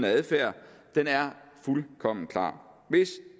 adfærd er fuldkommen klar hvis